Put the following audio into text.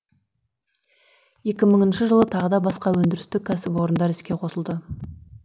екі мыңыншы жылы тағы да басқа өндірістік кәсіпорындар іске қосылды